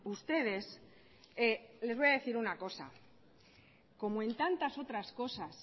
ustedes les voy a decir una cosa como en tantas otras cosas